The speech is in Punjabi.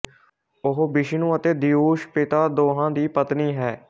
ਉਹ ਵਿਸ਼ਨੂੰ ਅਤੇ ਦਯੂਸ ਪਿਤਾ ਦੋਹਾਂ ਦੀ ਪਤਨੀ ਹੈ